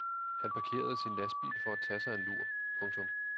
Han parkerede sin lastbil for at tage sig en lur. punktum